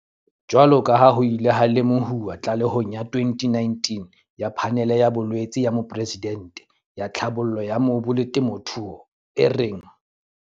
Jwaloka ha ho ile ha lemohuwa tlalehong ya 2019 ya Phanele ya Boeletsi ya Moporesidente ya Tlhabollo ya Mobu le Temothuo, e reng